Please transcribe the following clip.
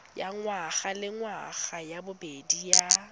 ya ngwagalengwaga ya bobedi ya